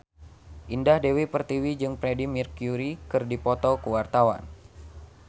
Indah Dewi Pertiwi jeung Freedie Mercury keur dipoto ku wartawan